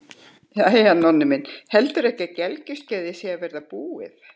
Jæja, Nonni minn, heldurðu ekki að gelgjuskeiðið sé að verða búið?